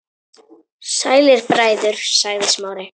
Sælir bræður- sagði Smári.